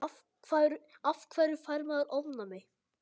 af hverju fær maður ofnæmi